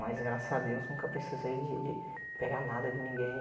Mas, graças a Deus, nunca precisei de de de pegar nada de ninguém.